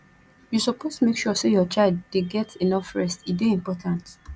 you suppose make sure say your child dey get enough rest e dey important